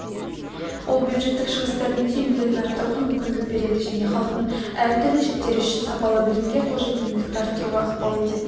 ол бюджеттік шығыстардың тиімділігін арттыруға мүмкіндік береді және халықтың әртүрлі жіктері үшін сапалы білімге қолжетімділікті арттыруға ықпал ететін